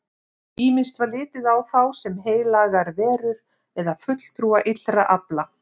Ýmist var litið á þá sem heilagar verur eða fulltrúa illra afla.